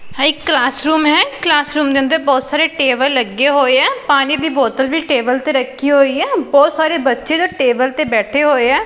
ਆ ਇੱਕ class room ਹੈ ਕਲਾਸ ਰੂਮ ਦੇ ਅੰਦਰ ਬਹੁਤ ਸਾਰੇ ਟੇਬਲ ਲੱਗੇ ਹੋਏ ਆ ਪਾਣੀ ਦੀ ਬੋਤਲ ਵੀ ਟੇਬਲ ਤੇ ਰੱਖੀ ਹੋਈ ਹੈ ਬਹੁਤ ਸਾਰੇ ਬੱਚੇ ਦਾ ਟੇਬਲ ਤੇ ਬੈਠੇ ਹੋਏ ਆ।